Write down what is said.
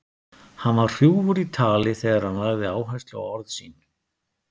Hann var hrjúfur í tali þegar hann lagði áherslu á orð sín.